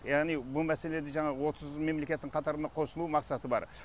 яғни бұл мәселеде жаңағы отыз мемлекеттің қатарына қосылу мақсаты бар